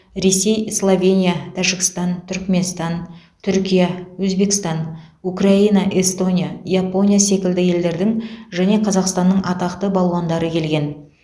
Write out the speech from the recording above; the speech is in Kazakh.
ресей словения тәжікстан түрікменстан түркия өзбекстан украина эстония япония секілді елдердің және қазақстанның атақты балуандары келген